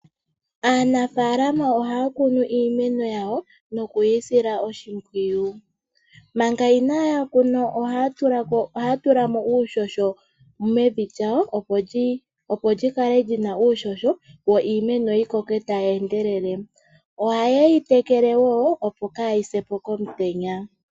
Aanafalama ohaya kunu iimeno yawo nokuyi sila oshimpwiyu. Manga inaya kuna ohaya tulamo uuhoho mevi lyawo opo lyi kale lyina uuhoho, yo iimeno yi koke tayi endelele, oha ye yi tekele wo opo kayi se po komutenya.